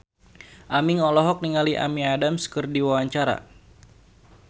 Aming olohok ningali Amy Adams keur diwawancara